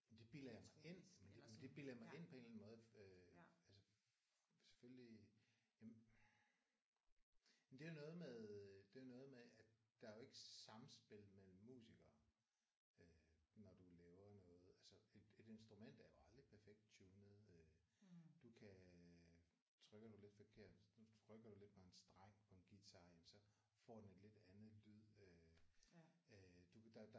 Det bilder jeg mig men det men det bilder jeg mig ind på en eller anden måde. Altså selvfølgelig jamen det er jo noget med øh det er noget med at der er jo ikke samspil mellem musikere når du laver noget altså et et instrument er jo aldrig perfekt tunet. Øh du kan øh trykker du lidt forkert trykker du lidt på en streng på en guitar jamen så får den lidt andet lyd øh øh du kan øh